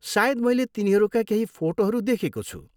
सायद मैले तिनीहरूका केही फोटोहरू देखेको छु।